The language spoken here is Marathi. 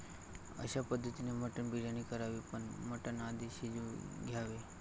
अश्या पद्धतीने मटण बिर्याणी करावी पण मटण आधी शिजवून घ्यावे.